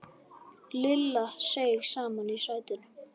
Lilla seig saman í sætinu.